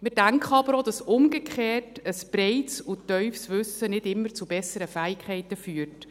Wir denken aber auch, dass umgekehrt ein breites und tiefes Wissen nicht immer zu besseren Fähigkeiten führt.